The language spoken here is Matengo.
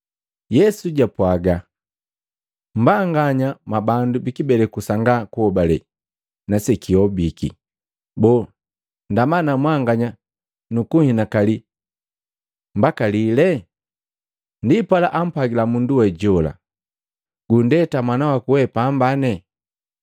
Yesu japwaga, “Mmbanganya mwabandu bikibeleku sanga kuhobale na sekihobiki! Boo ndama na mwanganya nukunhinakali mbaka lile?” Ndipala ampwagila mundu we jola, “Gunndeta mwanawaku we pamba.”